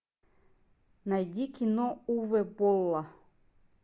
найди кино уве болла